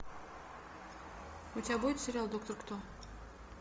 у тебя будет сериал доктор кто